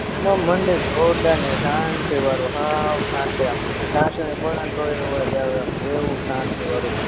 મંદિર જોરદારની શાંતીવારું સાવ શાંતિ આમ ટાસણી પણેને તોય અવાજ આવે એમ એવું શાંતી વારુ મંદિર